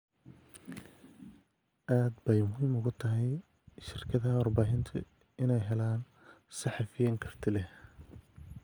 Aad bay muhiim ugu tahay shirkadaha warbaahintu inay helaan saxafiyiin karti leh.